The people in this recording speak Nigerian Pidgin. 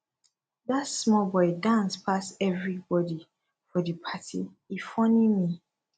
dat small boy dance pass everybodi for di party e funny me